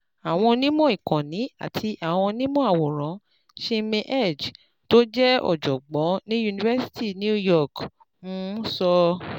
Àwọn onímọ̀ ìkànnì àti àwọn onímọ̀ àwòrán: ChinmayHegde, tó jẹ́ ọ̀jọ̀gbọ́n ní university New York, um sọ